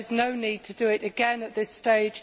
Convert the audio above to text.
there is no need to do it again at this stage.